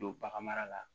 Don bagan mara la